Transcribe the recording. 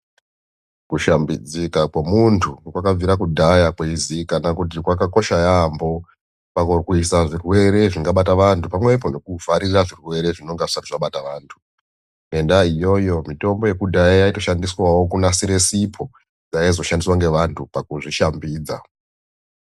Kushambidzika kwemuntu kwakabvira kudhaya kweizikanwa kuti kwakakosha yaambo pakurwisa zvirwere zvingabata vant pamwepo nekuvharira zvirwere zvinenge zvisati zvabata vantu ngendaya iyoyo mitombo yekudhaya yaitoshandiswa kunasira sipo yaizoshandiswa ngevantu pakuzvishambidza.